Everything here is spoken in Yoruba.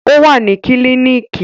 O wa ni kílinikì